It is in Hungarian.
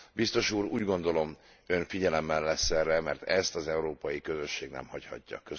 Biztos Úr, úgy gondolom, Ön figyelemmel lesz erre, mert ezt az európai közösség nem hagyhatja.